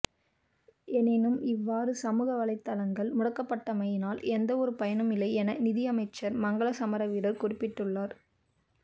எனினும் இவ்வாறு சமூக வலைத்தளங்கள் முடக்கப்பட்டமையினால் எந்த ஒரு பயனும் இல்லை என நிதி அமைச்சர் மங்கள சமரவீர குறிப்பிட்டுள்ளார்